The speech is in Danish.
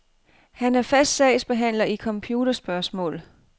Han er fast sagsbehandler i computerspørgsmål.